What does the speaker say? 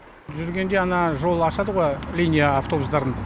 жүргенде ана жол ашады ғой линия автобустардың